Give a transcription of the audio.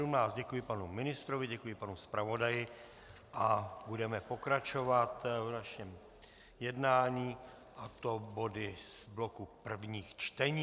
Děkuji panu ministrovi, děkuji panu zpravodaji a budeme pokračovat v našem jednání, a to body z bloku prvních čtení.